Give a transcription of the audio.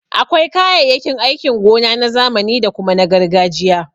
Akwai kayayyakin aikin gona na zamani da kuma na gargajiya.